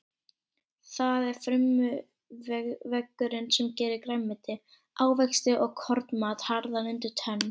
Það er frumuveggurinn sem gerir grænmeti, ávexti og kornmat harðan undir tönn.